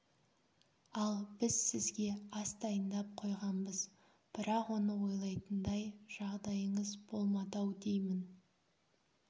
ал біз сізге ас дайындап қойғанбыз бірақ оны ойлайтындай жағдайыңыз болмады-ау деймін